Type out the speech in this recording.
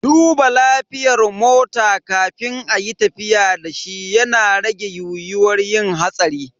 Duba lafiyar mota kafin ayi tafiya dashi yana rage yiyuwar yin hatsari.